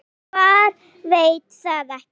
Svar: Veit það ekki.